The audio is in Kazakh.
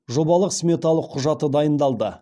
жобалық сметалық құжаты дайындалды